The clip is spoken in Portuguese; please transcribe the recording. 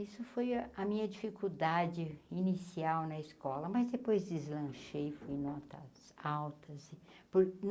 Isso foi a minha dificuldade inicial na escola, mas depois deslanchei, fui notas altas. por hum